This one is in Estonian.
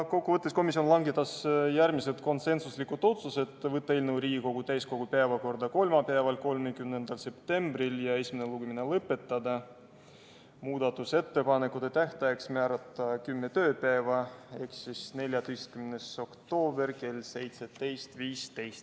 Kokkuvõttes langetas komisjon järgmised konsensuslikud otsused: panna eelnõu Riigikogu täiskogu päevakorda kolmapäevaks, 30. septembriks, esimene lugemine lõpetada ja määrata muudatusettepanekute esitamise tähtajaks kümme tööpäeva ehk 14. oktoober kell 17.15.